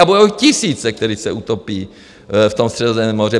To budou tisíce, kteří se utopí v tom Středozemním moři.